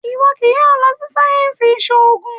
Ìwọ kì í yóò lọ sí sáyẹnsì ìsòògùn!